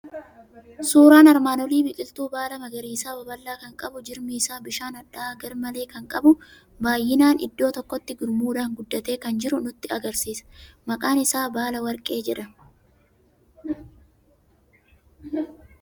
Suuraan armaan olii biqiltuu baala magariisa babal'aa kan qabu, jirmi isaa bishaan hadhaa'aa garmalee kan qabu, baay'inaan iddoo tokkotti gurmuudhaan guddatee kan jiru nutti argisiisa. Maqaan isaa baala warqee jedhama.